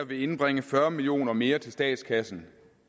vil indbringe fyrre million kroner mere til statskassen